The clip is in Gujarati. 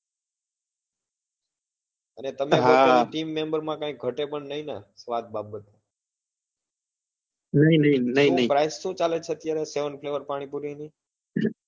અને તમે team member માં કઈ ઘટે પણ નહિ ને સ્વાદ બાબત માં શું price શું ચાલે છે અત્યારે seven flavour પાણીપુરી ની